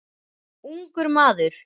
Ungur maður.